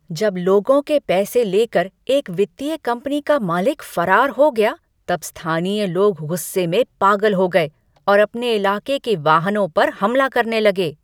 जब लोगों के पैसे लेकर एक वित्तीय कंपनी का मालिक फरार हो गया तब स्थानीय लोग गुस्से में पागल हो गए और अपने इलाके के वाहनों पर हमला करने लगे।